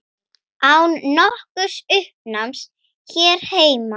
Án nokkurs uppnáms hér heima.